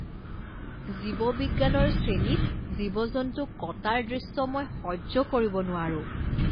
জীৱবিজ্ঞানৰ শ্ৰেণীত জীৱ জন্তুক কটাৰ দৃশ্য মই সহ্য কৰিব নোৱাৰো।